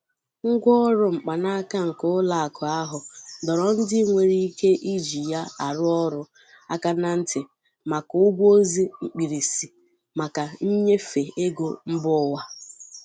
Ngwaọrụ mkpanaaka nke ụlọakụ ahu dọrọ ndi nwere ike iji ya arụ orụ aka ná ntị maka ụgwọ ozi mkpirisi maka nnyefe ego mba ụwa.